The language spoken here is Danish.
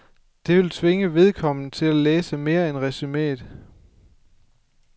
Det vil tvinge vedkommende til at læse mere end resuméet.